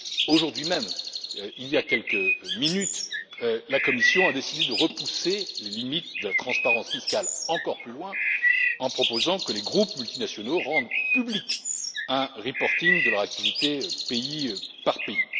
Aujourd'hui même, il y a quelques minutes, la Commission a décidé de repousser les limites de la transparence fiscale encore plus loin en proposant que les groupes multinationaux rendent public un reporting de leur activité pays par pays.